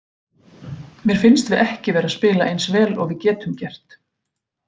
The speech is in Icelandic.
Mér finnst við ekki vera að spila eins vel og við getum gert.